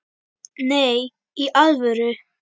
Nei, í alvöru.